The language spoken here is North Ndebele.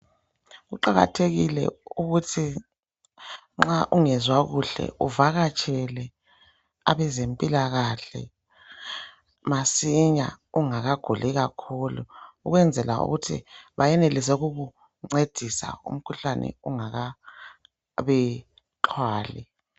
Kuqakathekile ukuthi nxa ungezwa kuhle uvakatshele abezempilakahle masinya ungakaguli kakhulu ukwenzela ukuthi, bayenelise ukukuncedisa umkhuhlane ungaka xhwali.